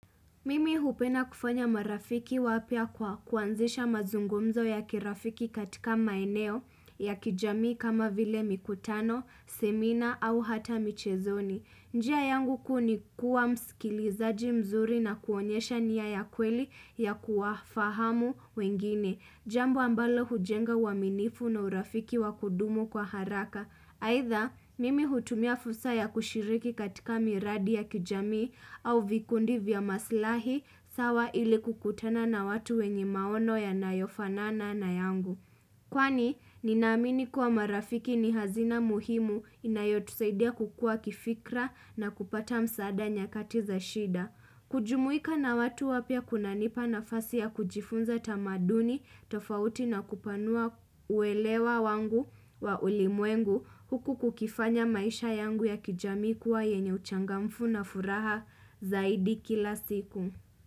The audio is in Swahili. Mimi hupenda kufanya marafiki wapya kwa kuanzisha mazungumzo ya kirafiki katika maeneo ya kijamii kama vile mikutano, semina au hata michezoni. Njia yangu kuu ni kuwa msikilizaji mzuri na kuonyesha nia ya kweli ya kuwafahamu wengine. Jambo ambalo hujenga uaminifu na urafiki wa kudumu kwa haraka. Aidha, mimi hutumia fursa ya kushiriki katika miradi ya kijamii au vikundi vya maslahi, sawa ili kukutana na watu wenye maono yanayofanana na yangu. Kwani, ninaamini kuwa marafiki ni hazina muhimu inayotusaidia kukua kifikra na kupata msaada nyakati za shida. Kujumuika na watu wapya kunanipa nafasi ya kujifunza tamaduni, tofauti na kupanua uelewa wangu wa ulimwengu huku kukifanya maisha yangu ya kijamii kuwa yenye uchangamfu na furaha zaidi kila siku.